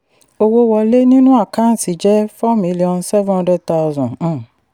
owó wọlé nínú àkáǹtì jẹ́ four miliion seven hundred thousand. um